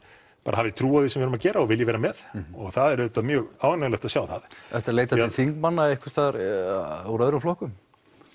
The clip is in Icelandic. hafi trú á því sem við erum að gera og vilji vera með og það er auðvitað mjög ánægjulegt að sjá það ertu að leita til þingmanna úr öðrum flokkum